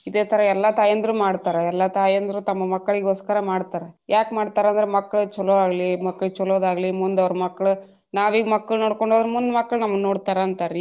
ಇದೆ ತರಾ ಎಲ್ಲಾ ತಾಯಂದ್ರು ಮಾಡ್ತಾರ ಎಲ್ಲಾ ತಾಯಂದ್ರು ತಮ್ಮ ಮಕ್ಕಳಿಗೊಸ್ಕರ ಮಾಡ್ತಾರ ಯಾಕ್ ಮಾಡ್ತಾರ ಅಂದ್ರ ಮಕ್ಲಿಗ್ ಚೊಲೊ ಆಗ್ಲಿ ಮಕ್ಲಿಗ್ ಚೊಲೊದಾಗ್ಲಿ ಮುಂದ ಅವ್ರ ಮಕ್ಳು ನಾವ ಈಗ ಮಕ್ಳನ್ನೋಕೊಂಡ್ರೆ ಹೋದ್ರ ಅವ್ರ್ ಮುಂದ್ ಮಕ್ಳು ನಮ್ಮನ ನೋಡ್ತಾರ ಅಂತಾರೀ.